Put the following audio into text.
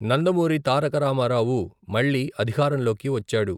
నందమూరి తారక రామారావు మళ్ళీ అధికారంలోకి వచ్చాడు.